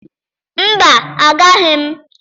Mba, agaghị m.